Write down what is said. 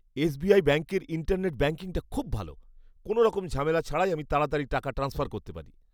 SBI ব্যাঙ্কের internet ব্যাঙ্কিংটা খুব ভাল। কোনোরকম ঝামেলা ছাড়াই আমি তাড়াতাড়ি টাকা ট্রান্সফার করতে পারি।